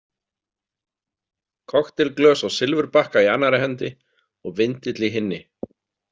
Kokteilglös á silfurbakka í annarri hendi og vindill í hinni.